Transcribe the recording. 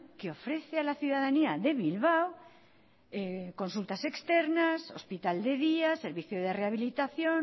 que ofrece a la ciudadanía de bilbao consultas externas hospital de día servicio de rehabilitación